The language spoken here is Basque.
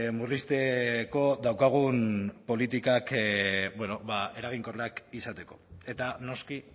murrizteko daukagun politikak bueno ba eraginkorrak izateko eta noski